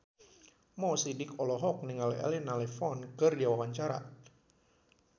Mo Sidik olohok ningali Elena Levon keur diwawancara